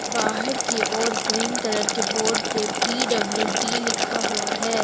बाहर की ओर ग्रीन कलर के बोड पे पी_डब्ल्यू_डी लिखा हुआ है।